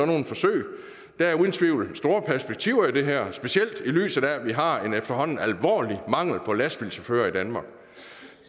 nogle forsøg der er uden tvivl store perspektiver i det her specielt i lyset af at vi har en efterhånden alvorlig mangel på lastbilchauffører i danmark